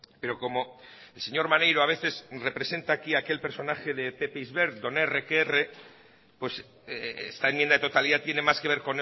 pero como el señor maneiro a veces representa aquí aquel personaje de pepe isbert don erre que erre esta enmienda de totalidad tiene más que ver